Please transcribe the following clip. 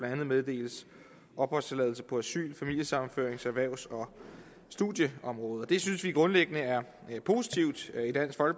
andet meddeles opholdstilladelse på asyl familiesammenføring erhvervs og studieområdet det synes vi grundlæggende er